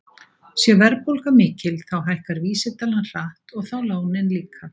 Sé verðbólga mikil þá hækkar vísitalan hratt og þá lánin líka.